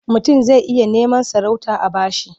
Mutum zai iya neman sarauta a ba shi.